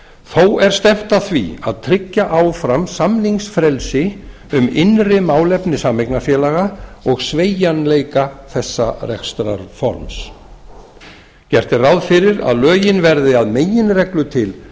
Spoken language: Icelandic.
þó er stefnt að því að tryggja áfram samningsfrelsi um innri málefni sameignarfélaga og sveigjanleika þessa rekstrarforms gert er ráð fyrir að lögin verði að meginreglu til